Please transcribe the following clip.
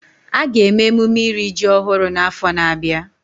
A ga-eme emume iri ji ọhụrụ n'afọ na-abịa